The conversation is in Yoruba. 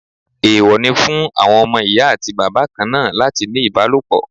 Èèwọ̀ ni fún àwọn ọmọ Ìyá àti Bàbá kanáà láti ní ìbálòpọ̀.